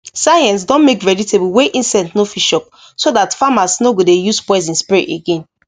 science don make vegetable wey insect no fit chop so that farmers no go de use poison spray again